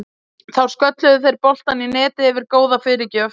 Þá skölluðu þeir boltann í netið eftir góða fyrirgjöf.